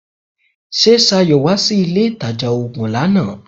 Ṣé Ṣayọ̀ wá sí ilé ìtajà oògun ní àná?